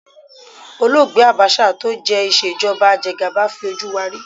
Olóògbé Àbáṣà tó jẹ́ ìṣèjọba ajegàba fi ojú wa rí.